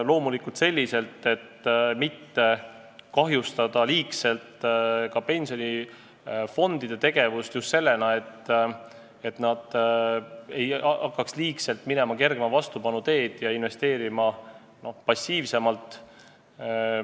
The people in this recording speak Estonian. Loomulikult tuleb seda teha selliselt, et mitte liigselt pensionifondide tegevust kahjustada, just selles mõttes, et nad ei hakkaks minema kergema vastupanu teed ja passiivsemalt investeerima.